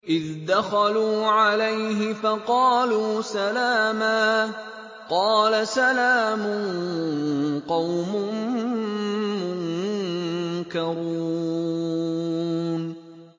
إِذْ دَخَلُوا عَلَيْهِ فَقَالُوا سَلَامًا ۖ قَالَ سَلَامٌ قَوْمٌ مُّنكَرُونَ